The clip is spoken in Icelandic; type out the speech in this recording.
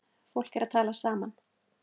Fólk er að tala saman.